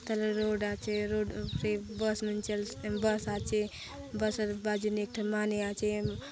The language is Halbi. च ल रोड आचे रोड पे बस मन चल बस आचे बस अर बाजु ने एक ठन माने आचे।